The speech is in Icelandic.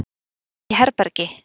Er í herbergi.